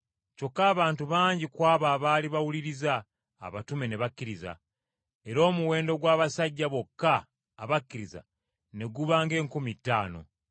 Kyokka abantu bangi ku abo abaali bawuliriza abatume ne bakkiriza, era omuwendo gw’abasajja bokka abakkiriza ne guba ng’enkumi ttaano!